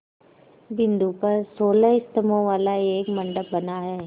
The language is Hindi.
बिंदु पर सोलह स्तंभों वाला एक मंडप बना है